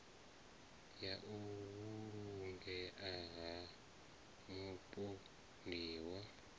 ya u vhulungea ha mupondiwa